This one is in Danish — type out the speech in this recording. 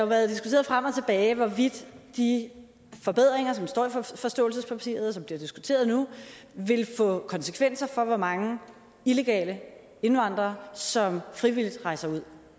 været diskuteret frem og tilbage hvorvidt de forbedringer som står i forståelsespapiret og som bliver diskuteret nu vil få konsekvenser for hvor mange illegale indvandrere som frivilligt rejser ud